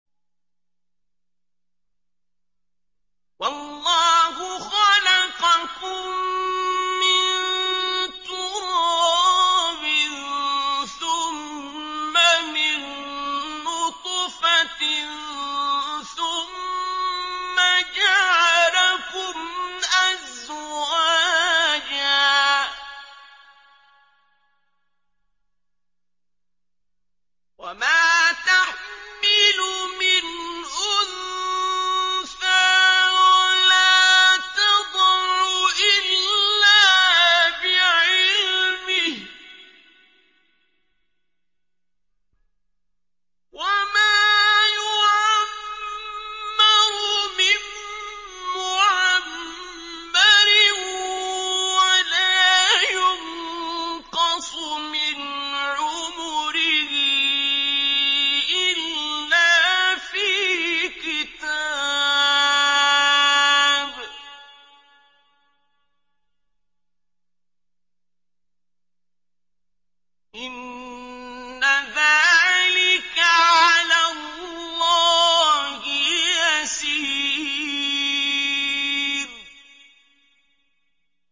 وَاللَّهُ خَلَقَكُم مِّن تُرَابٍ ثُمَّ مِن نُّطْفَةٍ ثُمَّ جَعَلَكُمْ أَزْوَاجًا ۚ وَمَا تَحْمِلُ مِنْ أُنثَىٰ وَلَا تَضَعُ إِلَّا بِعِلْمِهِ ۚ وَمَا يُعَمَّرُ مِن مُّعَمَّرٍ وَلَا يُنقَصُ مِنْ عُمُرِهِ إِلَّا فِي كِتَابٍ ۚ إِنَّ ذَٰلِكَ عَلَى اللَّهِ يَسِيرٌ